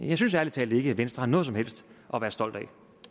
jeg synes ærlig talt ikke at venstre har noget som helst at være stolt af